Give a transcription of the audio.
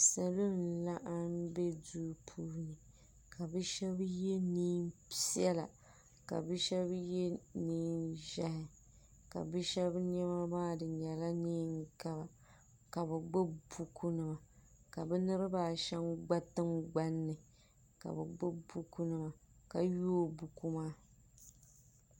salo n laɣim be do puuni ka be shɛbi yɛ nɛpiɛlla ka be shɛbi yɛ nɛʒiɛhi ka shɛbi bɛni be yɛlanɛngaba ka be gbabi buku nima ka be niribaashɛm gba tiŋgbani ka be gbabi bukunim ka yɔi buku maa